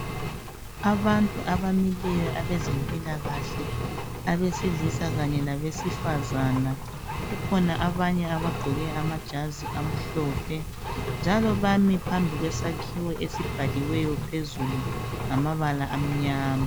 abantu abamileyo abezempilakahle abesilisa kanye labesifazana kukhona abanye abagqoke amajazi amhlophe njalo bami phambi kwesakhiwo esibhaliweyo phezulu ngamabala amnyama